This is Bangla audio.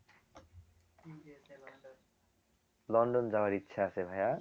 লন্ডন যাওয়ার ইচ্ছা আছে ভাইয়া